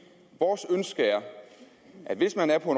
vores ønske er at hvis man er på